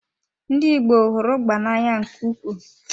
Ndị Igbo hụrụ ugba na-anya nke ukwuu.